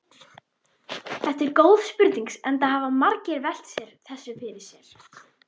Þetta er góð spurning enda hafa margir velt þessu fyrir sér.